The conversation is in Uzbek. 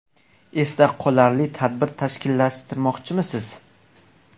Esda qolarli tadbir tashkillashtirmoqchimisiz?